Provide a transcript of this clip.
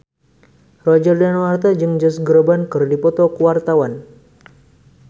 Roger Danuarta jeung Josh Groban keur dipoto ku wartawan